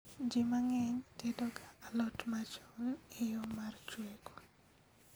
Jii mang'eny tedoga alot machon e yoo mar chweko